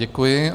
Děkuji.